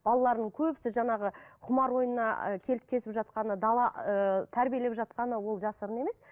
балалардың көбісі жаңағы құмар ойынына ы келіп кетіп жатқаны дала ыыы тәрбиелеп жатқаны ол жасырын емес